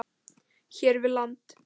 hér við land.